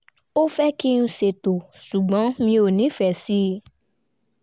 ó fẹ́ kí n ṣètò ṣùgbọ́n mi ò nífẹ̀ẹ́ sí